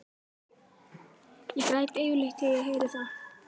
Ég græt yfirleitt þegar ég heyri það.